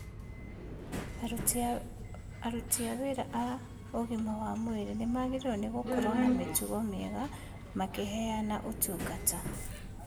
Aruti a wĩra a ũgima wa mwĩrĩ nĩmagĩrĩirwo nĩ gũkorwo na mĩtugo mĩega makĩheana ũtungata